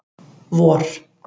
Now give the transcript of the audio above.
vor